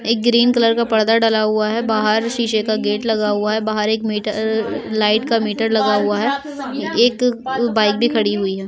एक green colour का पर्दा डला हुआ है। बाहर शीशे का गेट लगा हुआ है। बाहर एक मीटर र र लाइट का मीटर लगा हुआ है। एक बाइक भी खड़ी हुई है।